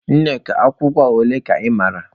Nneka agwụgwa ole ka ị mara?